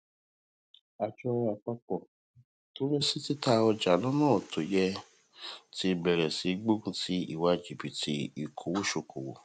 ajọ àpapọ tó ń rí sí tita ọja lọna to yẹ ti bèrè sí í gbógun ti ìwà jibiti ikowosokowo